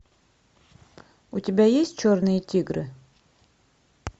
у тебя есть черные тигры